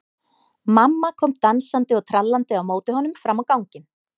Mamma kom dansandi og trallandi á móti honum fram á ganginn.